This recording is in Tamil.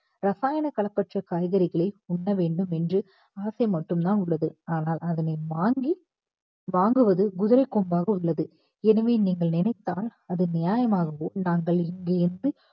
ரசாயன கலப்பற்ற காய்கறிகளை உண்ண வேண்டும் என்று ஆசை மட்டும் தான் உள்ளது ஆனால் அதனை வாங்கி~ வாங்குவது குதிரை கொம்பாக உள்ளது எனவே நீங்கள் நினைத்தால் அது நியாயமாகவோ நாங்கள் இங்கே இருந்து